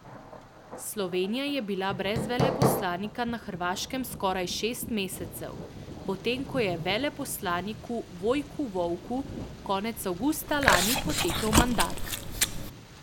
Slovenija je bila brez veleposlanika na Hrvaškem skoraj šest mesecev, potem ko je veleposlaniku Vojku Volku konec avgusta lani potekel mandat.